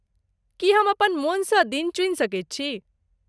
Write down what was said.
की हम अपन मोनसँ दिन चुनि सकैत छी?